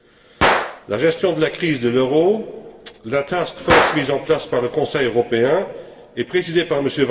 Dans la gestion de la crise de l'euro, la task force mise en place par le Conseil européen et présidée par M.